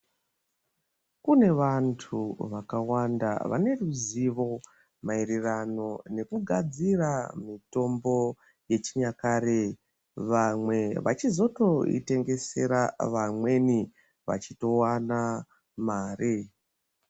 Kune vantu vakawanda vaneruzivo maererano nekugadzira mitombo yechinyakare vamwe vachizotoitengesera vamweni vachitowana mare.